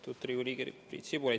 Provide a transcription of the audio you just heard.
Austatud Riigikogu liige Priit Sibul!